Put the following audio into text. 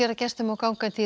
gestum og gangandi í